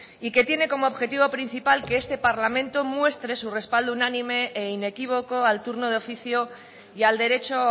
y que tiene como objetivo principal que este parlamento muestre su respaldo unánime e inequívoco al turno de oficio y al derecho